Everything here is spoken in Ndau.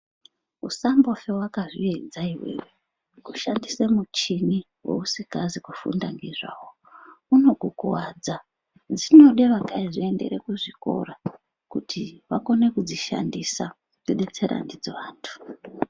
Usambofe wakazviedza iwewe kushandisa muchini wausikazi kufunda ngezvaiwo unokukuvadza . Zvinode vakazviendera kuzvikora kuti vakone kudzishandisa kudetsere ndidzo vantu